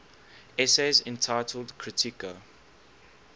essays entitled kritika